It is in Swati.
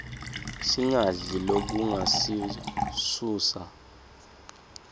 singadli lokungasiuuusa